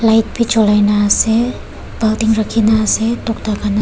Light bhi jolai na ase baltin rakhi kina ase tokta.